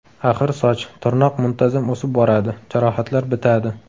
Axir soch, tirnoq muntazam o‘sib boradi, jarohatlar bitadi.